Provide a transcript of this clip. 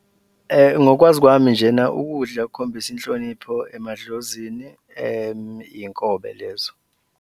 Ngokwazi kwami njena ukudla okukhombisa inhlonipho emadlozini iy'nkobe lezo.